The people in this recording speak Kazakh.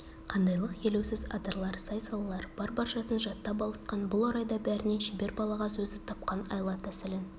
қандайлық елеусіз адырлар сай-салалар бар баршасын жаттап алысқан бұл орайда бәрінен шебер балағаз өзі тапқан айла-тәсілін